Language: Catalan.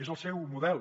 és el seu model